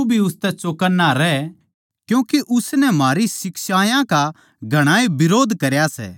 तू भी उसतै चौकन्ना रह क्यूँके उसनै म्हारी शिक्षायां का घणाए बिरोध करया सै